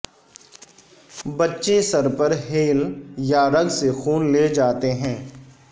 بچہ سر پر ہیل یا رگ سے خون لے جاتے ہیں